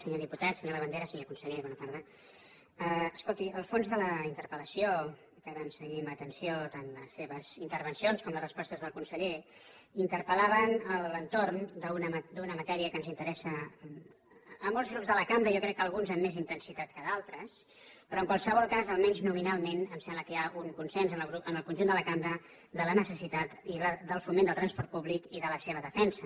senyor diputat senyor labandera senyor conseller bona tarda escolti el fons de la interpel·lació que vam seguir amb atenció tant les seves intervencions com les respostes del conseller interpel·lava a l’entorn d’una matèria que ens interessa a molts grups de la cambra jo crec que a alguns amb més intensitat que a d’altres però en qualsevol cas almenys nominalment em sembla que hi ha un consens en el conjunt de la cambra de la necessitat del foment del transport públic i de la seva defensa